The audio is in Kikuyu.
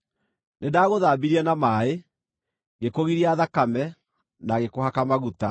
“ ‘Nĩndagũthambirie na maaĩ, ngĩkũgiria thakame, na ngĩkũhaka maguta.